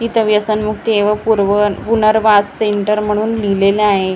इथं व्यसनमुक्ती व पूर्व पुनर्वास सेंटर लिहिलेलं आहे समोर बे--